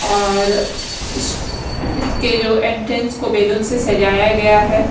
और इस इसके जो एंटेस को बैलून से सजाया गया है।